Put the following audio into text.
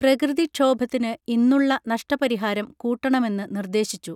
പ്രകൃതി ക്ഷോഭത്തിന് ഇന്നുള്ള നഷ്ട പരിഹാരം കൂട്ടണമെന്ന് നിർദേശിച്ചു